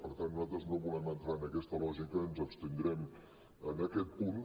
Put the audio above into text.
per tant nosaltres no volem entrar en aquesta lògica i ens abstindrem en aquest punt